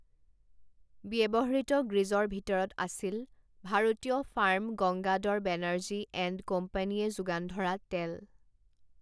ব্যৱহৃত গ্ৰিজৰ ভিতৰত আছিল ভাৰতীয় ফাৰ্ম গংগাদড় বেনাৰ্জী এণ্ড কোম্পানীয়ে যোগান ধৰা টেল'।